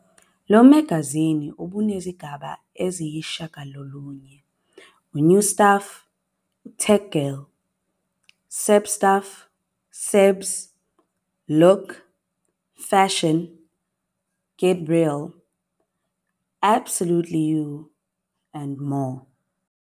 Lo magazini ubunezigaba eziyisishiyagalolunye- New Stuff, Tech Girl, Celeb Stuff, Celebs, Look, Fashion, Get Real, Absolutely You, and More.